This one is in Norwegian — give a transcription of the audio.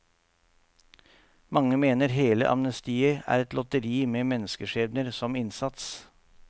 Mange mener hele amnestiet er et lotteri med menneskeskjebner som innsats.